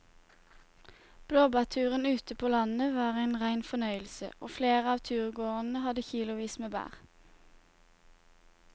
Blåbærturen ute på landet var en rein fornøyelse og flere av turgåerene hadde kilosvis med bær.